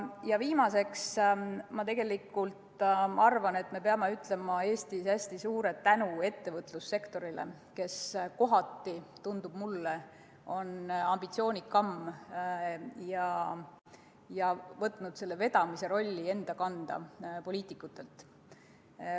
Ja viimaseks: ma arvan, et me peame ütlema Eestis hästi suure tänu ettevõtlussektorile, kes kohati on minu meelest ambitsioonikam ja võtnud vedajarolli poliitikute käest enda kanda.